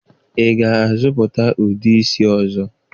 Ị ga-azụta ude isi ọzọ?